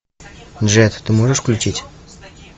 джет ты можешь включить